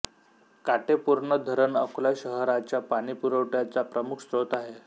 काटेपूर्ण धरण अकोला शहारच्या पाणीपुरवठ्याचा प्रमुख स्त्रोत आहे